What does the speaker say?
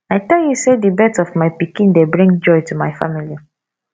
i tell you sey di birth of my pikin dey bring joy to my family